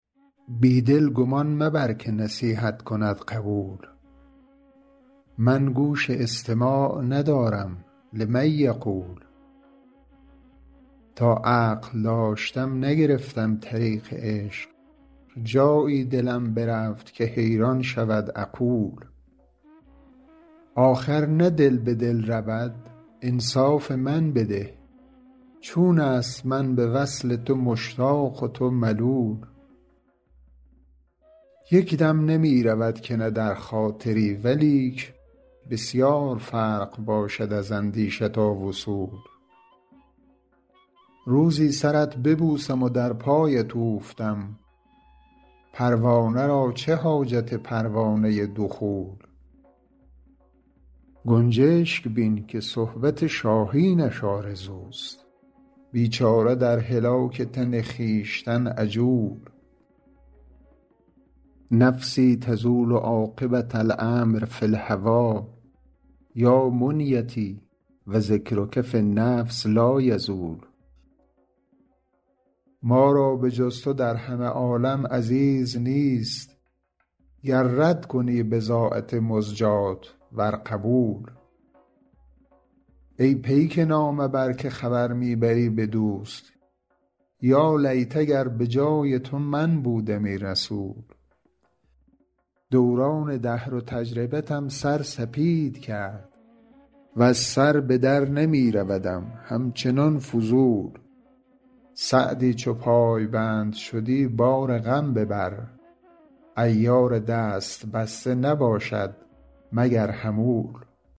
بی دل گمان مبر که نصیحت کند قبول من گوش استماع ندارم لمن یقول تا عقل داشتم نگرفتم طریق عشق جایی دلم برفت که حیران شود عقول آخر نه دل به دل رود انصاف من بده چون است من به وصل تو مشتاق و تو ملول یک دم نمی رود که نه در خاطری ولیک بسیار فرق باشد از اندیشه تا وصول روزی سرت ببوسم و در پایت اوفتم پروانه را چه حاجت پروانه دخول گنجشک بین که صحبت شاهینش آرزوست بیچاره در هلاک تن خویشتن عجول نفسی تزول عاقبة الأمر فی الهوی یا منیتی و ذکرک فی النفس لایزول ما را به جز تو در همه عالم عزیز نیست گر رد کنی بضاعت مزجاة ور قبول ای پیک نامه بر که خبر می بری به دوست یالیت اگر به جای تو من بودمی رسول دوران دهر و تجربتم سر سپید کرد وز سر به در نمی رودم همچنان فضول سعدی چو پایبند شدی بار غم ببر عیار دست بسته نباشد مگر حمول